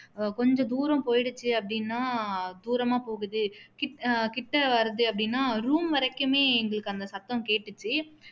கொஞ்ச தூரம் போயிடுச்சி அப்படின்னா தூரமா போகுது கிட்ட வருது அப்படின்னா room வரைக்குமே எங்களுக்கு அந்த சத்தம் கேட்டுச்சு